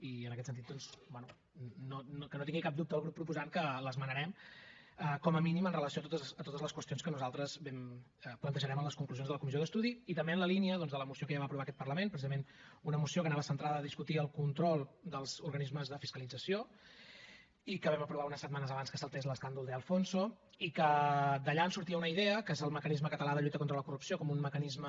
i en aquest sentit doncs bé que no tingui cap dubte el grup proposant que l’esmenarem com a mínim amb relació a totes les qüestions que nosaltres plantejarem a les conclusions de la comissió d’estudi i també en la línia doncs de la moció que ja va aprovar aquest parlament precisament una moció que anava centrada a discutir el control dels organismes de fiscalització i que vam aprovar unes setmanes abans que saltés l’escàndol de alfonso i que d’allà en sortia una idea que és el mecanisme català de lluita contra la corrupció com un mecanisme